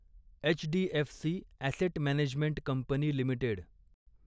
HDFC Asset Management Company limited